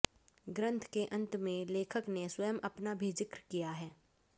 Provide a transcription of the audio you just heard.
ग्रन्थ के अंत में लेखक ने स्वयं अपना भी जिक्र किया है